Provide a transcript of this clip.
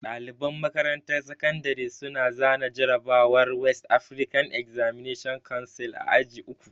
Ɗaliban makarantar sakandare su na zana jarrabawar West Afrikan Examination Council a aji uku